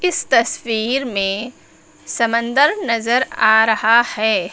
इस तस्वीर में समन्दर नजर आ रहा है।